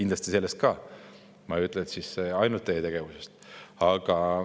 Ma ei ütle, et ainult teie tegevusest.